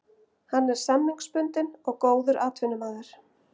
Hann er samningsbundinn og góður atvinnumaður.